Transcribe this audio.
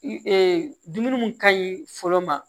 dumuni mun ka ɲi fɔlɔ ma